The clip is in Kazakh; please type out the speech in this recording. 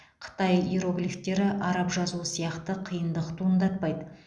қытай иероглифтері араб жазуы сияқты қиындық туындатпайды